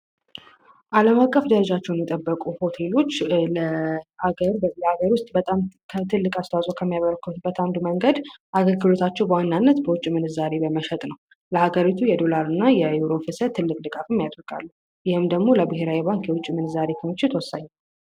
አለም አቀፍ ደረጃቸውን የጠብቁ ሆቴሎች ለሀገር ውስጥ ከሚያበረከቱበት መንገድ አንዱ በዋናነት በውጭ ምንዛሬ በመሸጥ ነው ለሀገሪቱ የዶላርና የገንዘብ ፍሰት አስተዋጽኦ ያደርጋል። ይህም ደግሞ ለብሔራዊ ባንክ የዶላር ክምችት በጣም ወሳኝ ነው።